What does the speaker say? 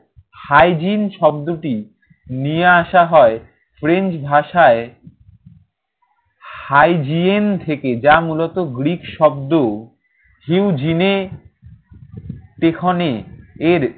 hygiene শব্দটি নিয়ে আসা হয় ফ্রেঞ্চ ভাষায় hygiene থেকে, যা মূলত গ্রিক শব্দ। heyogine পেখনে এর